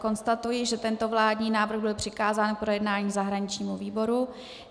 Konstatuji, že tento vládní návrh byl přikázán k projednání zahraničnímu výboru.